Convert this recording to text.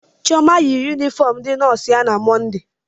Chioma yi yunifọọm ndị nọọsụ ya na Mọnde.